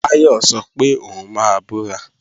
Táyọ̀ sọ pé òun máa bọ́ra